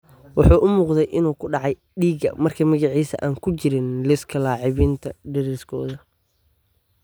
Wuxuu u muuqday inuu ku dhacay dhiigga markii magiciisa aan ku jirin liiska laacibiin deriskooda.